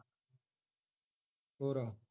ਹੋਰ